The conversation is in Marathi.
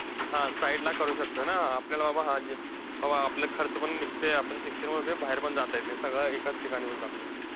हा! side ला करू शकतोय ना, आपल्याला बा हा जे बाबा आपले खर्च पण निघतंय, आपण शिक्षण वगैरे, बाहेर पण जात येत नाही, सगळं एकाच ठिकाणी होऊन जातंय.